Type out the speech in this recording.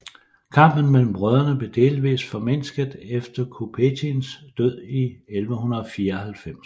Kampen mellem brødrene blev delvist formindsket efter Kutbettins død i 1194